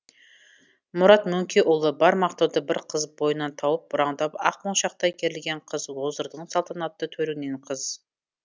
мұрат мөңкеұлы бар мақтауды бір қыз бойынан тауып бұраңдап ақ моншақтай керілген қыз оздырдың салтанатты төріңнен қыз